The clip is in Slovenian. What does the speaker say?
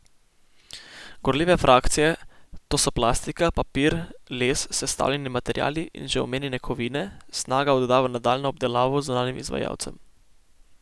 Gorljive frakcije, to so plastika, papir, les, sestavljeni materiali in že omenjene kovine, Snaga odda v nadaljnjo obdelavo zunanjim izvajalcem.